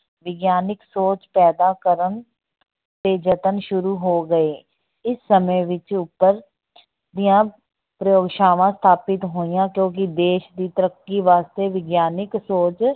ਵਿਗਿਆਨਕ ਸੋਚ ਪੈਦਾ ਕਰਨ ਦੇ ਯਤਨ ਸ਼ੁਰੂ ਹੋ ਗਏ, ਇਸ ਸਮੇਂ ਵਿੱਚ ਉੱਪਰ ਦੀਆਂ ਪ੍ਰਯੋਗਸ਼ਾਵਾਂ ਸਥਾਪਿਤ ਹੋਈਆਂ ਕਿਉਂਕਿ ਦੇਸ ਦੀ ਤੱਰਕੀ ਵਾਸਤੇ ਵਿਗਿਆਨਕ ਸੋਚ